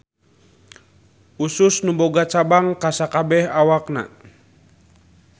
Usus nu boga cabang ka sakabeh awakna.